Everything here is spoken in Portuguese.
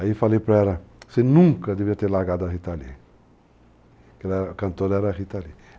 Aí falei para ela, você nunca deveria ter largado a Rita Lee, porque a cantora era a Rita Lee.